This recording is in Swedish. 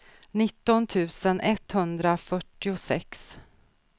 nitton tusen etthundrafyrtiosex